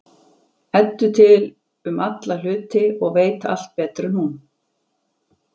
Eddu til um alla hluti og veit allt betur en hún.